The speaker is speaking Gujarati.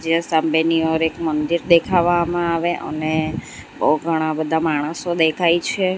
અહીંયા સામેની ઓર એક મંદિર દેખાવામાં આવે અને બોવ ઘણા બધા માણસો દેખાય છે.